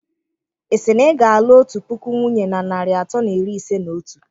Ị sị na ị ga-alụ otu puku nwunye na narị atọ na iri ise na otu?